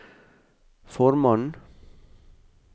formannen